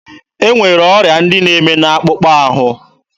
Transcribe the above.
E nwere ọrịa ndị na-eme n'akpụkpọ ahụ.